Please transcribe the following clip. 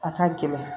A ka gɛlɛn